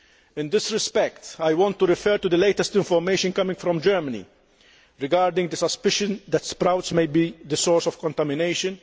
In this respect, I want to refer to the latest information coming from Germany regarding the suspicion that sprouts may be the source of contamination